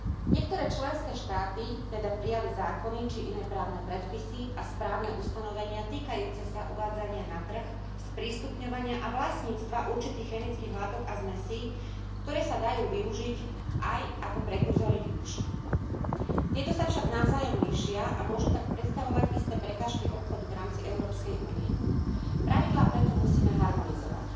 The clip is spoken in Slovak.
Niektoré členské štáty teda prijali zákony či iné právne predpisy a správne ustanovenia týkajúce sa uvádzania na trh, sprístupňovania a vlastníctva určitých chemických látok a zmesí, ktoré sa dajú využiť aj ako prekurzory výbušnín. Tieto sa však navzájom líšia a môžu tak predstavovať isté prekážky obchodu v rámci Európskej únie. Pravidlá preto musíme harmonizovať.